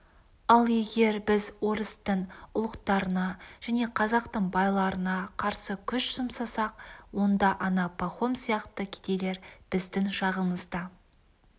ал егер біз орыстың ұлықтарына және қазақтың байларына қарсы күш жұмсасақ онда ана пахом сияқты кедейлер біздің жағымызда